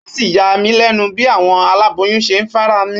Ó sì ń yá mi lénu bí àwọn aláboyún ṣe ń farami